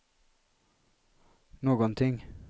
någonting